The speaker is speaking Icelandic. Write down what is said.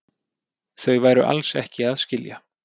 Þau væru alls ekki að skilja